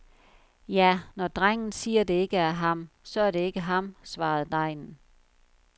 Ja, når drengen siger, det ikke er ham, så er det ikke ham, svarede degnen.